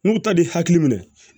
N'u ta b'i hakili minɛ